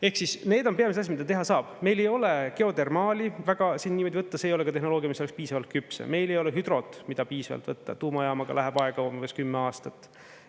Ehk siis need on pigem selles, mida teha saab, meil ei ole geodermaali väga võtta, see ei ole ka tehnoloogia, mis oleks piisavalt küps, ja meil ei ole hüdrot, mida piisavalt võtta, tuumajaamaga läheb aega umbes kümme aastat.